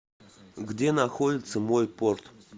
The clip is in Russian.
где находится мой порт